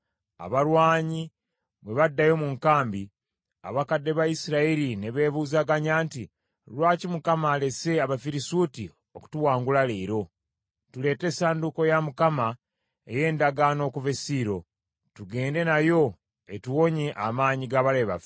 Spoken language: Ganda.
Abalwanyi bwe baddayo mu nkambi, abakadde ba Isirayiri ne beebuuzaganya nti, “Lwaki Mukama alese Abafirisuuti okutuwangula leero? Tuleete essanduuko ya Mukama ey’endagaano okuva e Siiro, tugende nayo etuwonye amaanyi g’abalabe baffe.”